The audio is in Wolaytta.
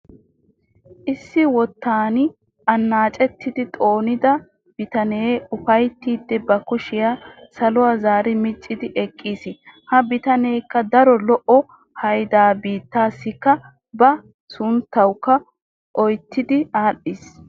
Issi wottan annacettidi xoonida bitanee ufayttiidi ba kushshiyaa saluwaa zaari micidi eqqiis. ha bitaneekka daro lo"o haydaa bitteesikka ba sunttawu oottidi adhiis.